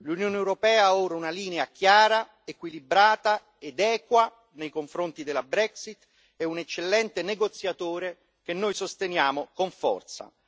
L'Unione europea ha ora una linea chiara, equilibrata ed equa nei confronti della Brexit e un eccellente negoziatore che noi sosteniamo con forza.